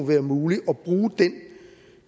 være muligt at bruge den